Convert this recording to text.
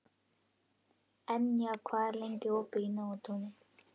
Enja, hvað er lengi opið í Nóatúni?